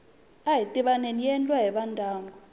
ahi tivaneni yi endliwa hi vandyangu